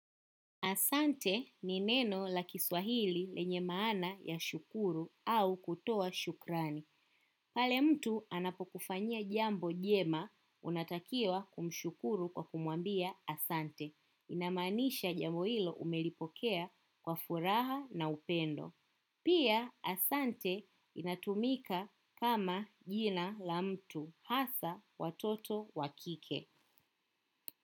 Asante ni neno la kiswahili lenye maana ya shukuru au kutoa shukrani. Pale mtu anapokufanyia jambo jema, unatakiwa kumshukuru kwa kumwambia asante. Inamaanisha jambo hilo umelipokea kwa furaha na upendo. Pia asante inatumika kama jina la mtu hasa watoto wa kike.